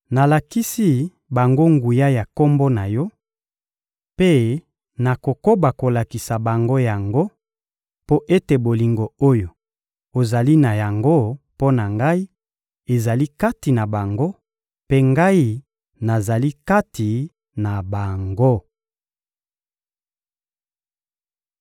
Nalakisi bango nguya ya Kombo na Yo, mpe nakokoba kolakisa bango yango, mpo ete bolingo oyo ozali na yango mpo na Ngai ezala kati na bango, mpe Ngai nazala kati na bango.